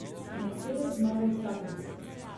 Mercedes zmaga vsako dirko.